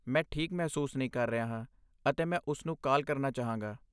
ਮੈਂ ਠੀਕ ਮਹਿਸੂਸ ਨਹੀਂ ਕਰ ਰਿਹਾ ਹਾਂ ਅਤੇ ਮੈਂ ਉਸਨੂੰ ਕਾਲ ਕਰਨਾ ਚਾਹਾਂਗਾ।